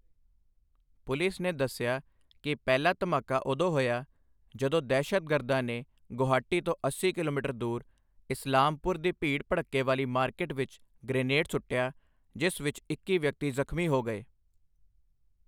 Police ਨੇ ਦੱਸਿਆ ਕਿ ਪਹਿਲਾ ਧਮਾਕਾ ਉਦੋਂ ਹੋਇਆ ਜਦੋਂ ਦਹਿਸ਼ਤਗਰਦਾਂ ਨੇ ਗੁਹਾਟੀ ਤੋਂ ਅੱਸੀ ਕਿਲੋਮੀਟਰ ਦੂਰ ਇਸਲਾਮਪੁਰ ਦੀ ਭੀੜ ਭੜੱਕੇ ਵਾਲੀ ਮਾਰਕੀਟ ਵਿੱਚ ਗ੍ਰਨੇਡ ਸੁੱਟਿਆ, ਜਿਸ ਵਿੱਚ ਇੱਕੀ ਵਿਅਕਤੀ ਜ਼ਖ਼ਮੀ ਹੋ ਗਏ।